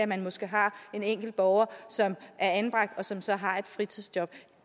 man måske har en enkelt borger som er anbragt og som så har et fritidsjob